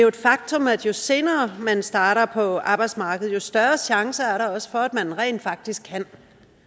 et faktum at jo senere man starter på arbejdsmarkedet jo større chance er der også for at man rent faktisk kan